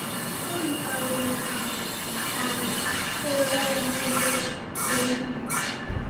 “O yikarịrị ka um ị hụla ya n’ebe obibi gị.”